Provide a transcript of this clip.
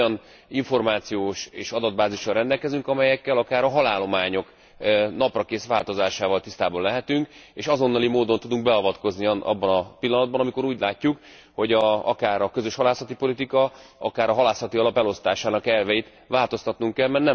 Hiszen olyan információs és adatbázissal rendelkezünk, amelyekkel akár a halállományok naprakész változásával is tisztában lehetünk, és azonnali módon tudunk beavatkozni abban a pillanatban, amikor úgy látjuk, hogy akár a közös halászati politika, akár a halászati alap elosztásának elveit változtatnunk kell.